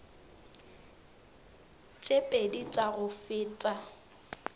tše pedi tša go feta